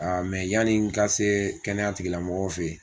yanni n ka se kɛnɛya tigi lamɔgɔw fɛ ye.